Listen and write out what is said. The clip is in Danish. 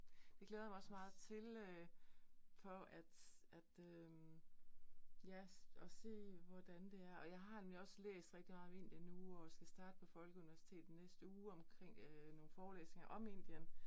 Det glæder jeg mig også meget til øh for at at øh ja, at se hvordan det er. Og jeg har nemlig også læst rigtig meget om Indien nu, og skal starte på folkeuniversitet i næste uge omkring øh nogle forlæsninger om Indien